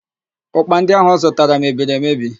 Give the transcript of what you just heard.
Ụ́kpà ndị áhụ̀ ọ zụtara mebiri emedi.